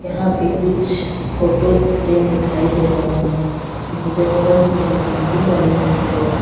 यहां पे कुछ फोटो फ्रेम दिखाई दे रहे हैं जिनपे बहुत सुंदर पेंटिंग बनी हुई है।